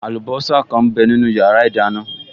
Àlùbọ́sà kan m bẹ nínu yàrá ìdáná